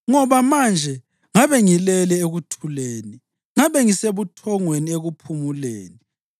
Ngoba manje ngabe ngilele ekuthuleni; ngabe ngisebuthongweni ekuphumuleni